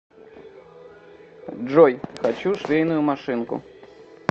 джой хочу швейную машинку